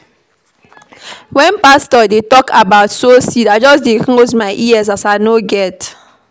Wen pastor dey tok about seed, I just close my ears as I no get.